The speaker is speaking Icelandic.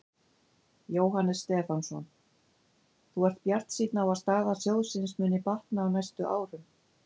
Jóhannes Stefánsson: Þú ert bjartsýnn á að staða sjóðsins muni batna á næstu árum?